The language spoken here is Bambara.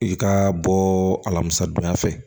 I ka bɔ alamisa don ya fɛ